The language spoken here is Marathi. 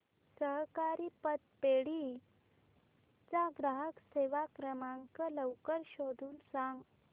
सहकारी पतपेढी चा ग्राहक सेवा क्रमांक लवकर शोधून सांग